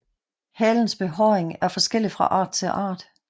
Halens behåring er forskellig fra art til art